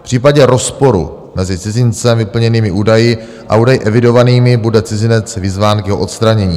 V případě rozporu mezi cizincem vyplněnými údaji a údaji evidovanými bude cizinec vyzván k jeho odstranění.